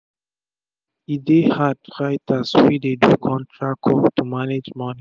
e um dey hard writers wey dey do contact work to manage moni